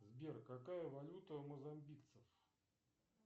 сбер какая валюта у мозамбикцев